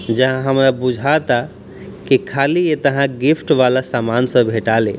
जहाँ हमरा बुझाता की खली ऐतहा गिफ्ट वाला सामान सब भेटा ले |